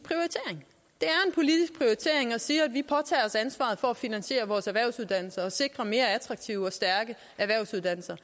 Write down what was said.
prioritering at sige at vi påtager os ansvaret for at finansiere vores erhvervsuddannelser og sikre mere attraktive og stærke erhvervsuddannelser